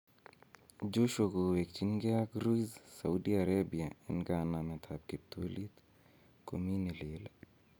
Joshua kowekyingee ak Ruiz Saudi Arabia en kanametab kiptulit, komii ne lel?